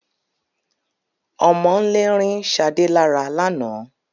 Ọmọ'ńlè rin Shádẹ̀ lárà lána.